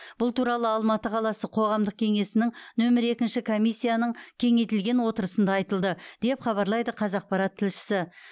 бұл туралы алматы қаласы қоғамдық кеңесінің нөмір екінші комиссияның кеңейтілген отырысында айтылды деп хабарлайды қазақпарат тілшісі